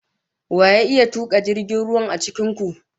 Wa ya iya tuka jirgin ruwa a cikin ku?